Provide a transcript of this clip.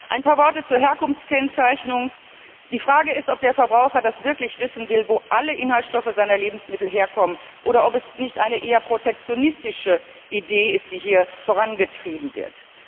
Ein paar Worte zur Herkunftskennzeichnung Die Frage ist, ob der Verbraucher wirklich wissen will, wo alle Inhaltsstoffe seiner Lebensmittel herkommen, oder ob es nicht eine eher protektionistische Idee ist, die hier vorangetrieben wird.